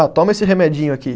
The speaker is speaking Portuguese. Ah, toma esse remedinho aqui.